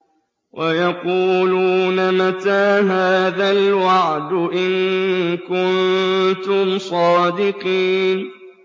وَيَقُولُونَ مَتَىٰ هَٰذَا الْوَعْدُ إِن كُنتُمْ صَادِقِينَ